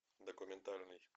документальный